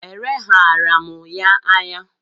E leghaara m ya anya.